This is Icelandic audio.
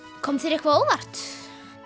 kom þér eitthvað á óvart